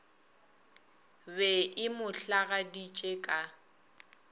be e mo hlagaditše ka